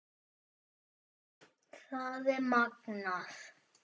Það er magnað.